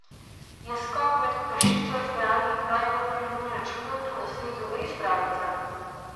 Je skok med peščico izbranih v najbolj priljubljenem športu na svetu res pravljica?